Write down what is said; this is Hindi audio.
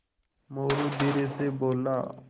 मोरू धीरे से बोला